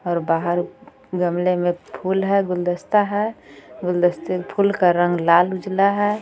और बाहर गमले में फूल है गुलदस्ता है गुलदस्ते फूल का रंग लाल उजला है.